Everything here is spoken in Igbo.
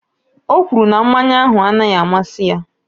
O kwuru na mmanya ahụ anaghị amasị ya.